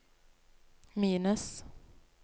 minus